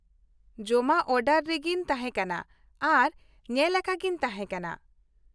ᱡᱚᱢᱟᱜ ᱚᱰᱟᱨ ᱨᱮᱜᱤᱧ ᱛᱟᱦᱮᱸ ᱠᱟᱱᱟ ᱟᱨ ᱧᱮᱞᱟᱠᱟᱜᱤᱧ ᱛᱟᱦᱮᱸ ᱠᱟᱱᱟ ᱾